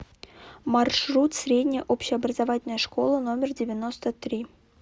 маршрут средняя общеобразовательная школа номер девяносто три